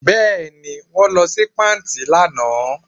Bẹ́ẹ̀ ni, wọ́n lọ sí patí lánàá